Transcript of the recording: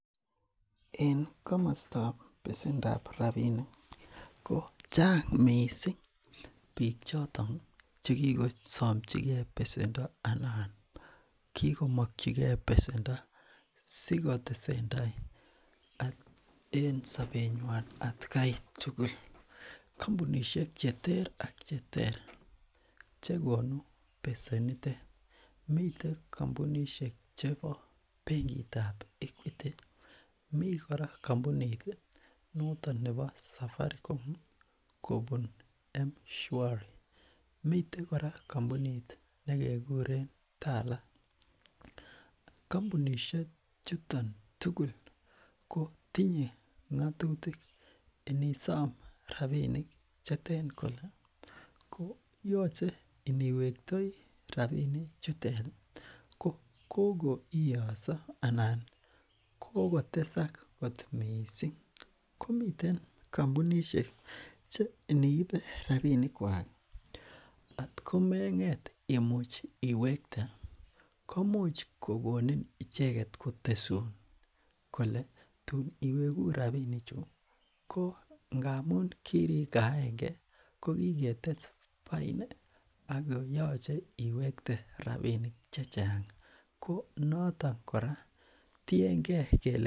en komostob pesendap rapinik kochang mising biik choton chekisomchikee pesendo anan kikomkyikee pesendo sikotesentai en sobenywan atkai tugul kompunishek cheter ak cheter chekonu pesenitet miten kompunishek chebo benkitab equiti mi kora kompuniti noton nebo safarikom kobun mshwari miten kora kompunit nekekuren tala kompunishechuton tugul kotinye ngotutik inisom rapinik cheten kole ko yoche iniwektoi rapinik cheteri kokoiso anan kokokotesak kot mising komiten kompunishek che iniibe rapinikwak at komenget imuch iwekte komuch kokonin icheket kotesun kole tun iweku rapinichu ko ngamun kirikaen kee kokiketes baini ako yoche iwekte rapinik chechang konoton kora tienge kele